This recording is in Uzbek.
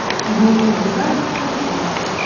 Bu qulay va xavfsiz.